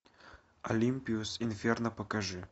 олимпиус инферно покажи